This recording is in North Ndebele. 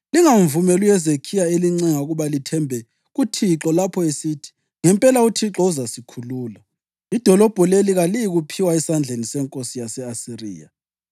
Lingamvumeli uHezekhiya elincenga ukuba lithembe kuThixo lapho esithi, ‘Ngempela uThixo uzasikhulula; idolobho leli kaliyikuphiwa esandleni senkosi yase-Asiriya.’